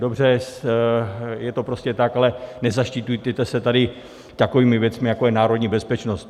Dobře, je to prostě tak, ale nezaštiťujte se tady takovými věcmi, jako je národní bezpečnost.